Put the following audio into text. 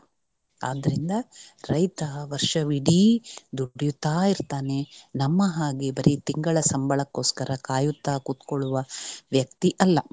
ಆದ್ರಿಂದ ರೈತ ವರ್ಷವಿಡೀ ದುಡಿಯುತ್ತ ಇರ್ತಾನೆ ನಮ್ಮ ಹಾಗೆ ಬರೀ ತಿಂಗಳ ಸಂಬಳಕ್ಕೋಸ್ಕರ ಕಾಯುತ್ತ ಕುತ್ಕೊಳ್ಳುವ ವ್ಯಕ್ತಿ ಅಲ್ಲ.